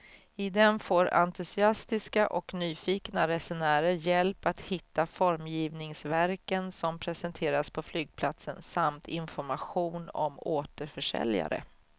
I den får entusiastiska och nyfikna resenärer hjälp att hitta formgivningsverken som presenteras på flygplatsen samt information om återförsäljare.